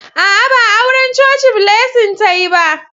A'a, ba auran coci Blessing ta yi ba.